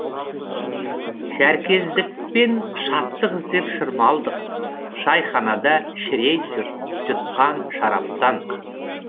шәркездікпен шаттық іздеп шырмалдық шайханада шірей жұтқан шараптан